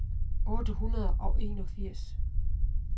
otte hundrede og enogfirs